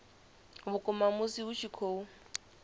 vhukuma musi hu tshi khou